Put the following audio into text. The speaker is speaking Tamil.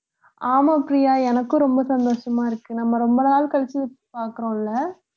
ஆமா பிரியா எனக்கும் ரொம்ப சந்தோஷமா இருக்கு நம்ம ரொம்ப நாள் கழிச்சு பாக்குறோம்ல